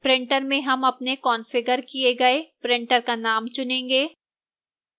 printer में हम अपने कंफिगर किए गए printer का name चुनेंगे